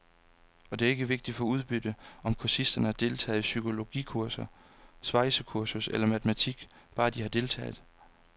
Og det er ikke vigtigt for udbyttet, om kursisterne har deltaget i psykologikursus, svejsekursus eller matematik, bare de har deltaget.